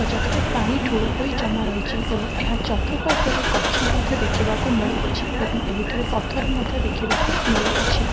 ଜାଗାରେ ପାଣି ଠୁଳ ହୋଇ ଜମାରହିଛି ଏବଂ ଏହାର ଚତୁପାର୍ଶ୍ଵରେ ଗଛ ମଧ୍ୟ ଦେଖିବାକୁ ମିଳୁଅଛି ଏବଂ ଏହିଠାରେ ପଥର ମଧ୍ୟ ଦେଖିବାକୁ ମିଳୁଅଛି ।